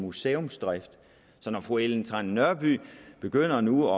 museumsdrift så når fru ellen trane nørby begynder nu